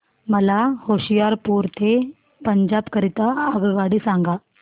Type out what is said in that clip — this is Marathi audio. मला होशियारपुर ते पंजाब करीता आगगाडी सांगा